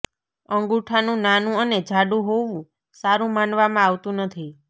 અંગુઠાનું નાનુ અને જાડુ હોવું સારુ માનવામાં આવતુ નથી